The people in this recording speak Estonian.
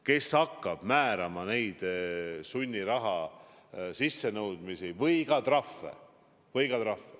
Kes hakkab määrama neid sunniraha sissenõudmisi või ka trahve?